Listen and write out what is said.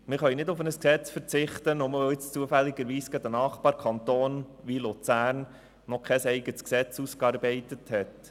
Wir können nicht auf ein Gesetz verzichten, weil zufälligerweise gerade ein Nachbarkanton wie Luzern noch kein eigenes Gesetz ausgearbeitet hat.